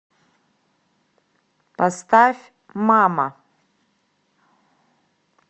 поставь мама